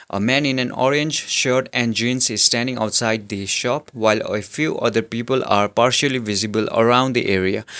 a man in an orange shirt and jeans is standing outside the shop while a few other people are partially visible around the area.